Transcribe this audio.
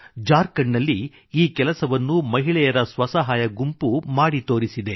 ಜಾರ್ಖಂಡ್ ನಲ್ಲಿ ಈ ಕೆಲಸವನ್ನು ಮಹಿಳೆಯರ ಸ್ವಸಹಾಯ ಗುಂಪು ಮಾಡಿ ತೋರಿಸಿದೆ